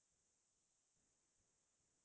খুবে ভাল লাগিছে